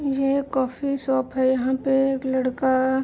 ये coffee shop है। यहाँ पे एक लड़का --